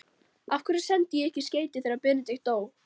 Af hverju sendi ég ekki skeyti þegar Benedikt dó?